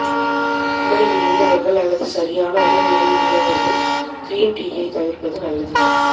உடல் மெலிந்தவர்கள் அல்லது சரியான உடல் எடையில் உள்ளவர்கள் க்ரீன் டீயைத் தவிர்ப்பது நல்லது